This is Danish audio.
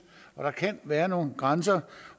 og der kan være nogle grænser